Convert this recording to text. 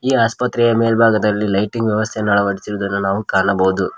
ಈ ಆಸ್ಪತ್ರೆಯ ಮೇಲ್ಬಾಗದಲ್ಲಿ ಲೈಟಿಂಗ್ ವ್ಯವಸ್ಥೆಯನ್ನ ಅಳವಡಿಸಿರುದನ್ನು ನಾವು ಕಾಣಬಹುದು.